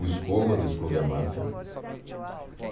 O Escova, do Escova e a Máfia.